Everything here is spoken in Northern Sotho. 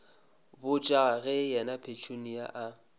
botša ge yena petunia a